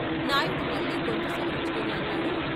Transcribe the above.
నాయుడు మళ్ళీ గొంతు సవరించుకుని అన్నాడు.